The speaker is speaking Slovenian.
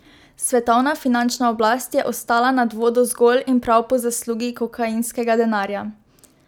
Svetovna finančna oblast je ostala nad vodo zgolj in prav po zaslugi kokainskega denarja.